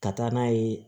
Ka taa n'a ye